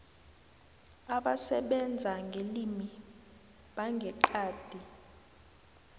abasebenza ngelimi bangeqadi